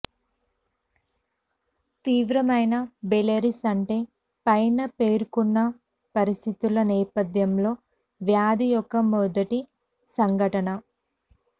తీవ్రమైన బెల్లెరిస్ అంటే పైన పేర్కొన్న పరిస్థితుల నేపథ్యంలో వ్యాధి యొక్క మొదటి సంఘటన